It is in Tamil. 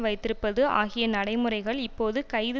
வைத்திருப்பது ஆகிய நடைமுறைகள் இப்போது கைது